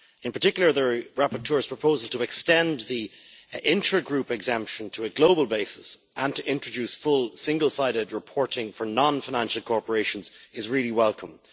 In particular, the rapporteur's proposal to extend the intra group exemption to a global basis and to introduce full, single sided reporting for non financial corporations is welcomed.